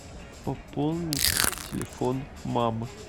пополнить телефон мамы